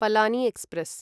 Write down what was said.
Palani express